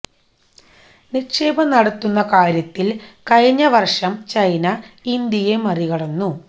നിക്ഷേപം നടത്തുന്ന കാര്യത്തില് കഴിഞ്ഞ വര്ഷം ചൈന ഇന്ത്യയെ മറികടന്നു